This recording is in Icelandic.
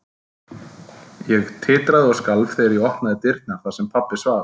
Ég titraði og skalf þegar ég opnaði dyrnar þar sem pabbi svaf.